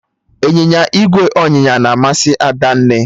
Ịnyịnya ígwè ọnyịnya na amasị Adanne